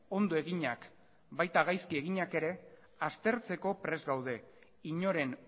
ondo eginak baita gaizki eginak ere aztertzeko prest gaude inoren